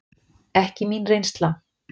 Ekki mín reynsla.